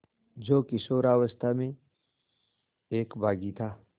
जो किशोरावस्था में एक बाग़ी था